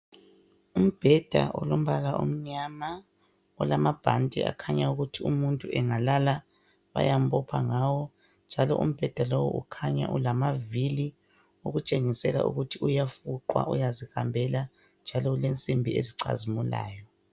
Umbheda olombala omnyama olamabhanti akhanya ukuthi umuntu angalala bayambopha ngawo njalo umbheda lowu ukhanya ulamavili okutshengisela ukuthi uyafuqwa uyazihambela njalo ulensimbi ezicazimulayo.